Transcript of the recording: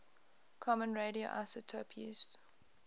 common radioisotope used